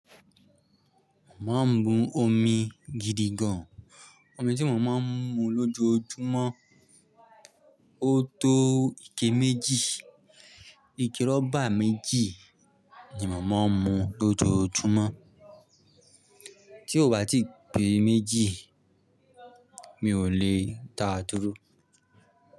Mo má ń mu omi gidi gan. Omi tí mo má ń mu lójoójúmọ́, ó tó ike méjì. Ike rọ́bà méjì ni mo má ń mu lójoójúmọ́. Tí ò bá ti pé méjì, mi ò lè ta túrú.